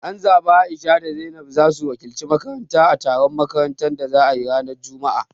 An zabi A'isha da Zainab zasu wakilci makaranta a taron makarantu da za ayi ranar juma'a